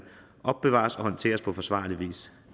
opbevares og håndteres på forsvarlig vis